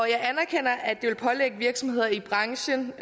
jeg anerkender at det vil pålægge virksomheder i branchen